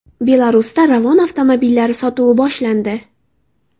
Belarusda Ravon avtomobillari sotuvi boshlandi.